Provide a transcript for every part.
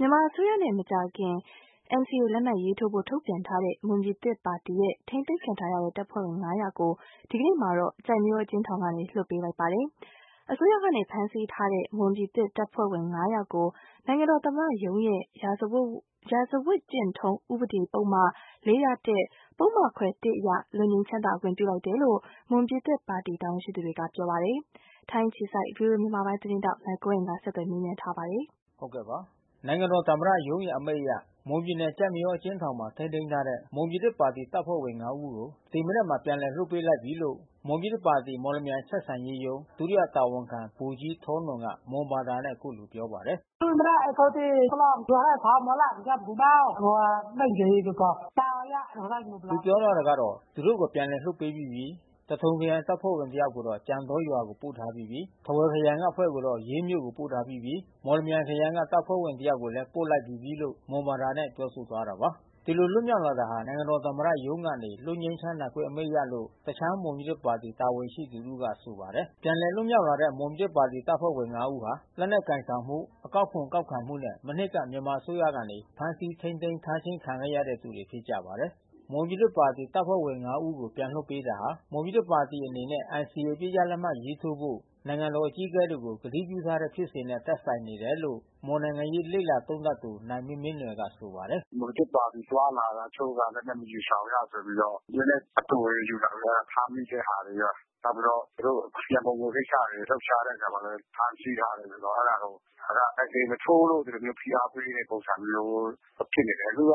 မြန်မာအစိုးရနဲ့မကြာမီNCAလက်မှတ်ရေးထိုးဖို့ထုတ်ပြန်ထားတဲ့မွန်ပြည်သစ်ပါတီပါတီရဲ့ ထိန်းသိမ်းခံထားရတဲ့တပ်ဖွဲ့ဝင် ဦးကို ဒီကနေ့မှာ ကျိုက်မရောအကျဉ်းထောင်ကနေလွှတ်ပေးလိုက်ပြီးဖြစ်ပါတယ်။ အစိုးရကဖမ်းဆီးထားတဲ့ မွန်ပြည်သစ်တပ်ဖွဲ့ဝင် ဦးကို နိုင်ငံတော်သမ္မတရုံးရဲ့ ရာဇဝတ်ကျင့်ထုံးဥပဒေပုဒ်မ ပုဒ်မခွဲ အရ လွတ်ငြိမ်းချမ်းသာခွင့်ပြုခဲ့တယ်လို့ မွန်ပြည်သစ်ပါတီ တာဝန်ရှိသူတွေက ပြောပါတယ်။ ဗွီအိုအေမြန်မာပိုင်းသတင်းထောက် နိုင်ကွန်းအိန်ကနေ ဆက်သွယ်မေးမြန်းသတင်းပေးပို့ထား ပါတယ်။ နိုင်ငံတော်သမ္မတရုံးရဲ့ အမိန့်အရ မွန်ပြည်နယ်ကျိုက်မရော အကျဉ်းထောင်မှာ ထိန်းသိမ်းထားတဲ့ မွန်ပြည်သစ်ပါတီ တပ်ဖွဲ့ဝင် ဦးကို ဒီမနက်မှာ ပြန်လည်လွှတ် ပေးလိုက်ပြီးလို့ မွန်ပြည်သစ်ပါတီမော်လမြိုင်ဆက်ဆံရေးရုံး ဒုတိယတာဝန်ခံ ဗိုလ်ကြီးထောနွန်က မွန်ဘာသာနဲ့အခုလို ပြောပါ တယ်။ "ပြန်လည်လွှတ်ပေးပြီးပြီး။ သထုံခရိုင်ကတပ်ဖွဲ့ဝင်တယောက်ကို ကြံတောရွာကိုပို့ထားပြီးပြီး။ ထားဝယ်ခရိုင်အဖွဲ့က ရေးမြို့ကိုပြန်ပြီး။ မော်လမြိုင်ခရိုင်ကတပ်ဖွဲ့ဝင် တယောက်ကိုလဲပို့လိုက်ပြီးပြီး။" ဒီလိုလွတ်မြောက်လာတာဟာ နိုင်ငံတော်သမ္မတရုံးကနေ လွတ်ငြိမ်းချမ်းသာခွင့် အမိန့်အရလို့ တခြားမွန်ပြည်သစ်ပါတီတာဝန်ရှိ သူ တဦးကဆိုပါတယ်။ ပြန်လည်လွတ်မြောက်လာတဲ့ မွန်ပြည်သစ်ပါတီအဖွဲ့ဝင် ဦးဟာ လက်နက်ကိုင်ဆောင်မှု အကောက်ခွန်ကောက်ခံမှုနဲ့မနှစ်က မြန်မာအစိုးရကနေဖမ်းဆီးထိမ်းသိမ်း ထားခြင်းခံခဲ့ရတဲ့ သူတွေဖြစ်ကြပါတယ်။ မွန်ပြည်သစ်ပါတီအဖွဲ့ဝင် ဦးကို ပြန်လွှတ်ပေးတာဟာ မွန်ပြည်သစ်ပါတီအနေနဲ့ NCAအပစ်ရပ်လက်မှတ်ရေးထိုးဖို့ နိုင်ငံ တော် အကြီးအကဲတွေကိုကတိပြုထားတဲ့ ဖြစ်စဉ်နဲ့သက်ဆိုင်နေတယ်လို့ မွန်နိုင်ငံရေးလေ့လာသုံးသပ်သူနိုင်မင်းမင်းနွယ် ကဆိုပါတယ်။ "မွန်ပြည်သစ်ပါတီသွားလာတာတချို့က လက်နက်မယူ ဆောင်ရဆိုပြီးတော့ လက်နက်အတိုတွေယူလာ ဖမ်းမိတဲ့ဟာတွေရော နောက်ပြီးတော့သူတို့ရန်ပုံငွေကိစ္စတွေ လှုပ်ရှားတဲ့အခါမှာလဲ ဖမ်းဆီးထားတယ်ဆိုတော့အဲတာကို ဒါက NCA မထိုးလို့ ဒီလိုမျိုး ဖိအားပေးတဲ့ပုံစံမျိုး သွားဖြစ်နေတယ်။ အခုက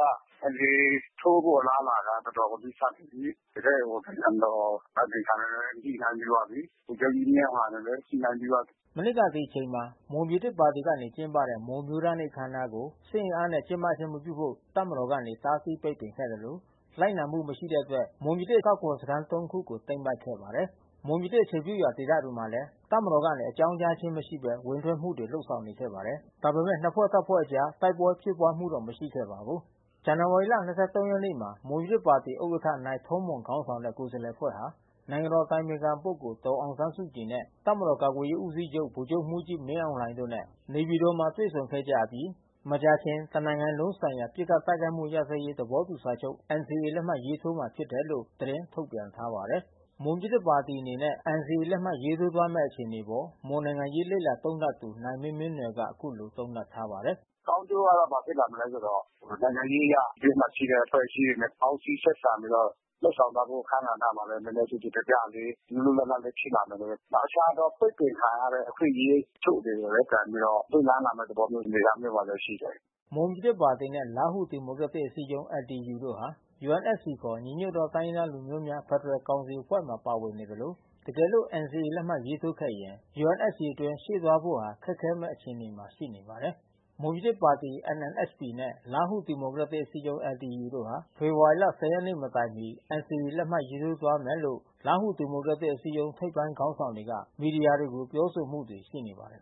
NCAထိုးဖို့အလား အလာကနီးစပ်နေပြီး။ တကယ့်ကို နိုင်ငံတော်အတိုင်ပင်ခံနဲ့ညှိနှိုင်းပြီးသွားပြီး။ ဗိုလ်ချုပ်ကြီးမင်းအောင်လှိုင် နဲ့လည်း ညှိနှိုင်းပြီး သွား ပြီး။" မနှစ်ကဒီအချိန်မှာ မွန်ပြည်သစ်ပါတီကနေကျင်းပတဲ့မွန်အမျိုးသားနေ့အခမ်းအနားကို စစ်အင်အားနဲ့ကျင်းပခြင်းမပြုဖို့ တပ်မ တော်ကနေ တားဆီးပိတ်ပင်ခဲ့သလို လိုက်နာမှုမရှိတဲ့အတွက် မွန်ပြည်သစ်အကောက်ခွန်စခန်း ခုကို သိမ်းပိုက်ခဲ့ပါတယ်။ မွန်ပြည်သစ်အခြေပြုရာဒေသတွေမှာလည်း တပ်မတော်ကနေ အကြောင်းကြားခြင်းမရှိဘဲ ဝင်ထွက်မှုတွေလုပ်ဆောင်နေခဲ့ပါတယ်။ ဒါပေမဲ့ နှစ်ဖွဲ့တပ်ဖွဲ့ အကြားတိုက်ပွဲဖြစ်ပွါးမှုတော့ မရှိခဲ့ပါဘူး။ ဇန်နဝါရီ ၂၃ ရက်နေ့မှာ မွန်ပြည်သစ်ပါတီဥက္ကဌနိုင်ထောမွန်ခေါင်းဆောင်တဲ့ ကိုယ်စားလှယ်အဖွဲ့ဟာ နိုင်ငံတော်အတိုင်ပင်ခံပုဂ္ဂိုလ် ဒေါ်အောင်ဆန်းစုကြည်နဲ့ တပ်မတော်ကာကွယ်ရေးဦးစီးချုပ် ဗိုလ်ချုပ်မှူးကြီးမင်းအောင်လှိုင်တို့နဲ့ နေပြည်တော်မှာတွေ့ဆုံခဲ့ကြ အပြီး မကြာခင် တစ်နိုင်ငံလုံးဆိုင်ရာပစ်ခတ်တိုက်ခိုက်မှုရပ်စဲရေးသဘောတူစာချုပ် NCA လက်မှတ်ရေးထိုးမှာဖြစ်တယ်လို့ သတင်း ထုတ်ပြန်ထားပါတယ်။ မွန်ပြည်သစ်ပါတီအနေနဲ့ NCA လက်မှတ်ရေးထိုးသွားမယ့် အခြေအနေအပေါ် မွန်နိုင်ငံရေးလေ့လာသုံးသပ်သူနိုင်မင်းမင်းနွယ် က အခုလို သုံးသပ်ထားပါတယ်။ "ကောင်းကျိုးကဘာဖြစ်လာမလဲဆိုတော့ နိုင်ငံရေးအရ ပြည်တွင်းမှာရှိတဲ့ အဖွဲ့အစည်းတွေနဲ့ပေါင်းစည်းဆက်ဆံပြီးတော့ လုပ်ဆောင်သွား ဖို့အခန်းကဏ္ဍမှာလဲ နဲနဲကျယ်ကျယ်ပြန့်ပြန့်လေး လွတ်လွတ်လပ်လပ်လေး တခြားသော ပိတ်ပင်ခံရတဲ့အခွင့်အရေး တချို့တွေ လဲပြန်ပြီးတော့ ပွင့်လန်းလာမယ့် သဘောမျိုးအနေအထားမှာလဲရှိတယ်။" မွန်ပြည်သစ်ပါတီနဲ့ လားဟူဒီမိုကရက်တစ် အစည်းအရုံး LDU တို့ဟာ UNFC ခေါ် ညီညွတ်သောတိုင်းရင်းသားလူမျိုးများ ဖက်ဒ ရယ်ကောင်စီအဖွဲ့မှာ ပါဝင်နေသလို တကယ်လို့NCAလက်မှတ်ရေးထိုးခဲ့ရင် UNFCအတွင်းရှေ့ဆက်သွားဖို့ဟာ ခက်ခဲမဲ့အခြေ အနေမှာရှိနေပါတယ်။ မွန်ပြည်သစ်ပါတီ NMSP နှင့် လားဟူဒီမိုကရက်တစ် အစည်းအရုံး LDU တို့ဟာဖေဖော်ဝါရီ ၁၀ ရက်နေ့မတိုင်မီ NCA လက်မှတ်ရေး ထိုးသွားမယ်လို့ လားဟူ ဒီမိုကရက်တစ်အစည်းအရုံး ထိပ်ပိုင်းခေါင်းဆောင်တွေက မီဒီယာတွေကိုပြောဆို မှုတွေရှိနေပါတယ်